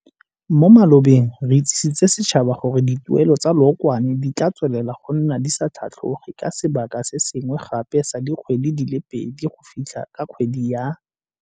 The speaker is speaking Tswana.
Mo malobeng re itsisitse setšhaba gore dituelelo tsa leokwane di tla tswelela go nna di sa tlhatlhoge ka sebaka se sengwe gape sa dikgwedi di le pedi go fitlha ka kgwedi ya.